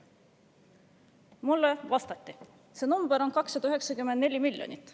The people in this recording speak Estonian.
" Mulle vastati, et see number on 294 miljonit.